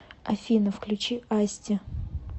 афина включи асти